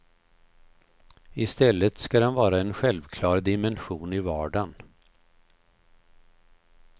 I stället ska den vara en självklar dimension i vardagen.